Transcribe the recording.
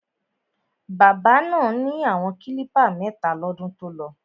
Bábà náà ni àwọn klípà mẹ́ta lọ́dún tolọ.